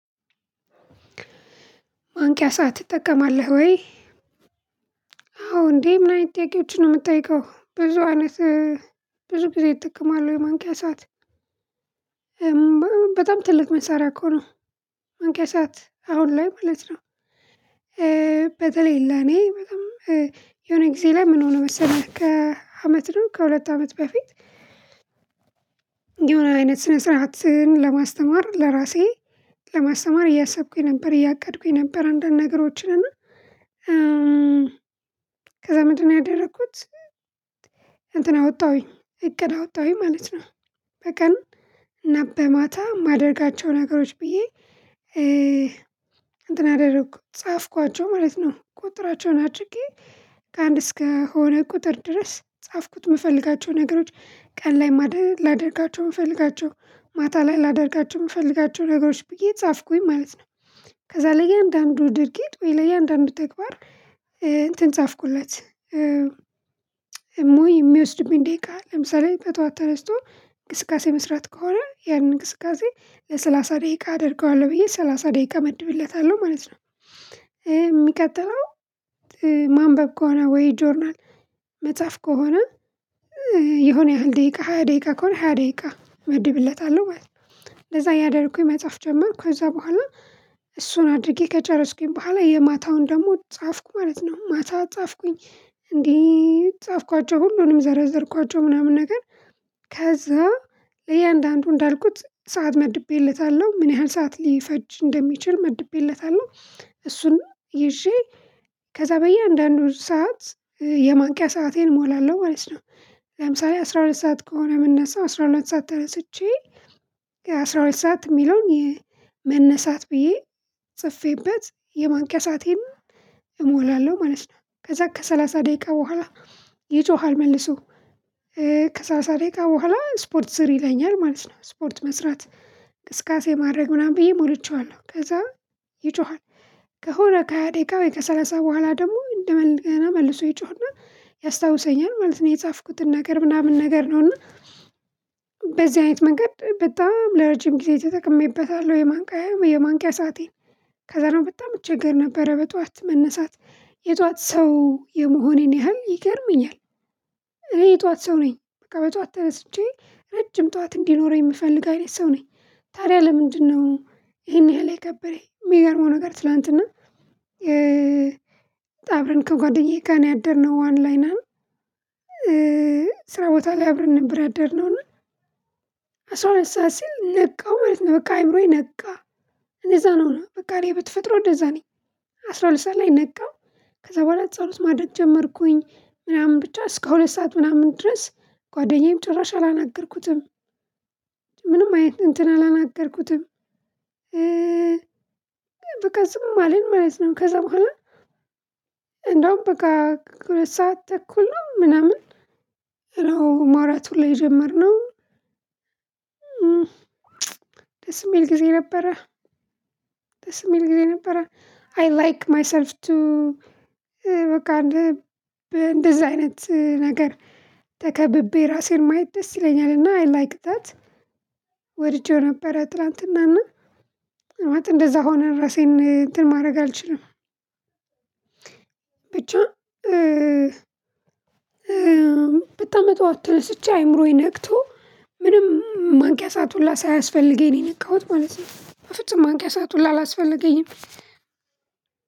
የማንቅያ ሰዓት ትጠቀማለህ ወይ? አዎ እንዴ ምን አይነት ጥያቄዎችን ነው የምትጠይቀው ብዙ አይነት ብዙ ጊዜ እጠቀማለው ማንቅያ ሰዓት። በጣም ትልቅ መሳሪያ እኮ ነው። ማንቅያ ሰዓት አሁን ላይ ማለት ነው። በተለይ ለኔ በጣም የሆነ ጊዜ ላይ ምን ሆነ መሰለህ ከአመት ነው ከሁለት አመት በፊት። የሆነ አይነት ስነ ስርዓትን ለማስተማር ለራሴ ለማስተማር እያሰብኩኝ ነበር እያቀድኩኝ ነበር አንዳንድ ነገሮችን እና ከዛ ምንድነው ያደረኩት? እንትን አወጣሁኝ እቅድ አወጣሁኝ ማለት ነው። በቀን እና በማታ የማደርጋቸው ነገሮች ብዬ እንትን አደረኩት ጻፍኳቸው ማለት ነው። ቁጥራቸውን አጭቄ ከአንድ እስከሆነ ቁጥር ድረስ ጻፍኩት የምፈልጋቸው ነገሮች ቀን ላይ ላደርጋቸው የምፈልጋቸው ማታ ላይ ላደርጋቸው የምፈልጋቸው ነገሮች ብዬ ጻፍኩኝ ማለት ነው። ከዛ ለእያንዳንዱ ድርጊት ወይ ለእያንዳንዱ ተግባር እንትን ጻፍኩለት። የሚወስድብኝ ደቂቃ ለምሳሌ በጧት ተነስቶ እንቅስቃሴ መስራት ከሆነ ያንን እንቅስቃሴ ለሰላሳ ደቂቃ አደርገዋለሁ ብዬ ሰላሳ ደቂቃ እመድብለታለሁ ማለት ነው። የሚቀጥለው ማንበብ ከሆነ ወይ ጆርናል መጽሐፍ ከሆነ የሆነ ያህል ደቂቃ ሃያ ደቂቃ ከሆነ ሃያ ደቂቃ እመድብለታለሁ ማለት ነው። ለዛ ያደረኩኝ መጽሐፍ ጀመርኩ ከዛ በኋላ እሱን አድርጌ ከጨረስኩኝ በኋላ የማታውን ደግሞ ጻፍኩ ማለት ነው። ማታ ጻፍኩኝ እንዲህ ጻፍኳቸው ሁሉንም ዘረዘርኳቸው ምናምን ነገር ከዛ ለእያንዳንዱ እንዳልኩት ሰዓት መድቤለታለሁ ምን ያህል ሰዓት ሊፈጅ እንደሚችል መድቤለታለሁ እሱንም ይዤ ከዛ በየአንዳንዱ ሰዓት የማንቂያ ሰአቴን እሞላለሁ ማለት ነው። ለምሳሌ አስራ ሁለት ሰዓት ከሆነ የምነሳው አስራ ሁለት ሰዓት ተነስቼ አስራ ሁለት ሰዓት የሚለውን መነሳት ብዬ ጽፌበት የማንቅያ ሰአቴን እሞላለሁ ማለት ነው። ከዛ ከሰላሳ ደቂቃ በኋላ ይጮሃል መልሶ ከሰላሳ ደቂቃ በኋላ ስፖርት ስሪ ይለኛል ማለት ነው። ስፖርት መስራት እንቅስቃሴ ማድረግ ምናምን ብዬ ሞልቼዋለሁ ከዛ ይጮሃል ከሆነ ከሃያ ደቂቃ ወይ ከሰላሳ በኋላ ደግሞ እንደገና መልሶ ይጮህና ያስታውሰኛል ማለት ነው። የጻፍኩትን ነገር ምናምን ነገር ነውና። በዚህ አይነት መንገድ በጣም ለረጅም ጊዜ ተጠቅሜበታለሁ የማንቂያ የማንቂያ ሰአቴን። ከዛ ነው በጣም እቸገር ነበረ በጠዋት መነሳት የጠዋት ሰው የመሆኔን ያህል ይገርመኛል። እኔ የጠዋት ሰው ነኝ በቃ በጠዋት ተነስቼ ረጅም ጠዋት እንዲኖረኝ የምፈልግ አይነት ሰው ነኝ። ታዲያ ለምንድነው? ይሄን ያህል የከበደኝ የሚገርመው ነገር ትላንትና። አብረን ከጓደኛዬ ጋር ነው ያደርነው ዋን ላይናን። ስራ ቦታ ላይ አብረን ነበር ያደርነው እና። አስራ ሁለት ሰዓት ሲል ነቃው ማለት ነው። በቃ አእምሮየ ነቃ እንደዛ ነው በቃ እኔ በተፈጥሮዬ እንደዛ ነኝ። አስራ ሁለት ሰዓት ላይ ነቃው። ከዛ በኋላ ጸሎት ማደርግ ጀመርኩኝ ምናምን ብቻ እስከ ሁለት ሰዓት ምናምን ድረስ ጓደኛዬም ጭራሽ አላናገርኩትም። ምንም አይነት እንትን አላናገርኩትም። በቃ ዝም አለን ማለት ነው ከዛ በኋላ። እንደውም በቃ ከሁለት ሰዓት ተኩል ነው ምናምን ነው ማውራት ሁላ የጀመርነው። የሚል ጊዜ ነበረ። ደስ የሚል ጊዜ ነበር። አይ ላይክ ማይሰልፍ ቱ። በቃ እንደዚህ አይነት ነገር። ተከብቤ ራሴን ማየት ደስ ይለኛል እና አይ ላይክ ዛት። ወድጄው ነበር ትላንትናና። እንደዛ ሆነን ራሴን እንትን ማድረግ አልችልም። ብቻ በጣም በጠዋት ተነስቼ አእምሮዬ ነቅቶ ምንም የማንቂያ ሰዓት ሁላ ሳያስፈልገኝ ነው የነቃሁት ማለት ነው። በፍጹም ማንቂያ ሰዓት ሁላ አላስፈልገኝም።